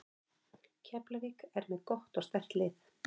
Keflavík er með gott og sterkt lið.